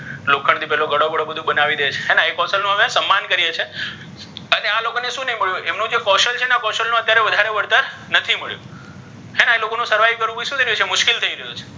લોખન્ડ થી પેલો ઘડો બડો બધુ બનાવી દે છે હે ને ઍ કૌશલ નુ હવે સન્માન કરીઍ છીઍ અહી આ લોકો ને શુ નહી મળ્યુ ઍમનુ જે કૌશલ છે ને ઍનુ અત્યારે વધારે વળતર નથી મળ્યુ હે ને ઍ લોકોને survive કરવુ શુ થઇ રહ્યુ છે મુશ્કેલ થઇ રહ્યુ છે.